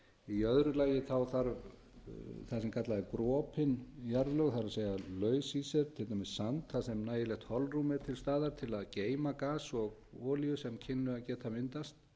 í öðru lagi þarf það sem kallað er brotin jarðlög það er laus í sér til dæmis sand þar sem nægilegt holrúm er til staðar til að geyma gas og olíu sem kynni að geta myndast